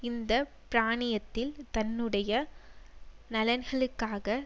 இந்த பிராந்தியத்தில் தன்னுடைய நலன்களுக்காக